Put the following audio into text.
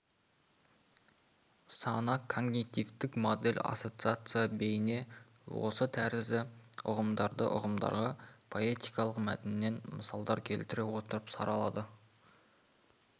сана когнитивтік модель ассоцация бейне осы тәрізді ұғымдарды ұғымдарға поэтикалық мәтіннен мысалдар келтіре отырып саралады